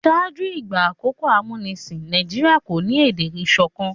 ṣáájú ìgbà àkókò amunisin Nàìjíríà kọ ní èdè ìsọkan